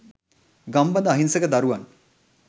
ගම්බද අහිංසක දරුවන්